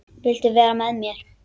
Viltu vera með mér?